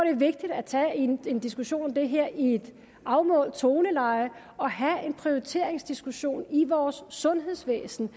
er vigtigt at tage en en diskussion om det her i et afmålt toneleje og have en prioriteringsdiskussion i vores sundhedsvæsen